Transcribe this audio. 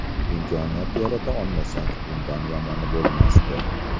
Imkoniyat yarata olmasak, bundan yomoni bo‘lmasdi.